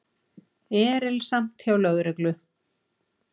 Erilsamt hjá lögreglu